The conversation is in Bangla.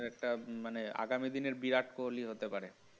একটা মানে আগামী দিনের বিরাট কোহলি হতে পারে